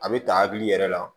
A bɛ ta hakili yɛrɛ la